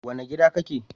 Wane gida kake?